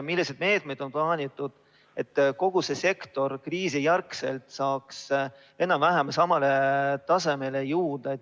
Milliseid meetmeid on plaanitud, et kogu see sektor kriisijärgselt saaks enam-vähem samale tasemele jõuda?